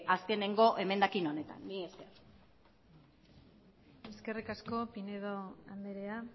azkeneko emendakin honetan mila esker eskerrik asko pinedo andrea